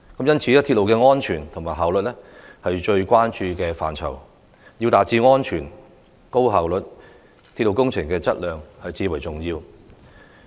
因此，鐵路的安全和效率是我們最關注的範疇，要達致安全和高效率，鐵路工程的質量至為重要。